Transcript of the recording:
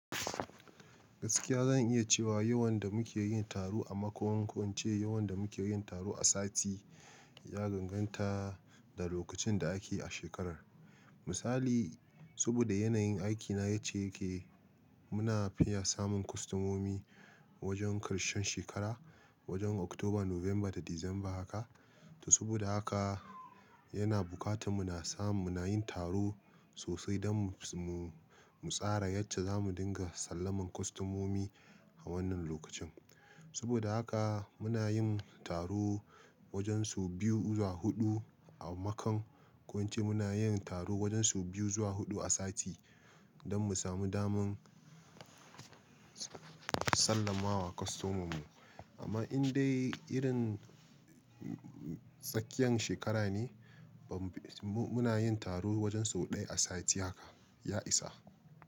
Gaskiya zan iya cewa yawan da muke yin taro a makon kwance, yawan da muke yin taro a sati ya danganta da lokacin da ake a shekarar. Misali, saboda yanayin aikina yacce yake, muna fiya samun kwastamomi wajen karshen shekara, wajen Oktoba, Nuwamba da Disamba haka. To saboda haka yana bukata muna samun, muna yin taro sosai don mu tsara yacce za mu dinga sallaman kwastamomi a wannan lokacin. Saboda haka muna yin taro wajen sau biyu zuwa huɗu a makon, ko wance muna yin taro wajen su biyu zuwa huɗu a sati don mu samu daman sallamawa kwastomomin mu. Amma in dai irin tsakiyan shekara ne, muna yin taro wajen sau ɗaya a sati haka, ya isa.